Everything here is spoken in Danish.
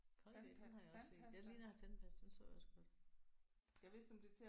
Colgate den har jeg også set. Det ligner tandpasta. Den så jeg også godt